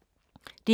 DR K